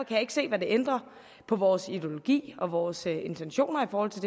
jeg ikke se hvad det ændrer på vores ideologi og vores intentioner i forhold til